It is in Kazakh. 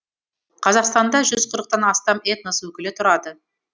қазақстанда жүз қырықтан астам этнос өкілі тұрады